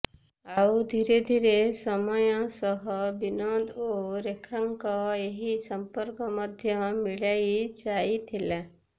ଆଉ ଧୀରେ ଧୀରେ ସମୟ ସହ ବିନୋଦ ଓ ରେଖାଙ୍କ ଏହି ସଂପର୍କ ମଧ୍ୟ ମିଳାଇ ଯାଇଥିଲା